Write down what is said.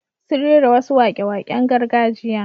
Sun rera wasu waƙe-waƙen gargajiya.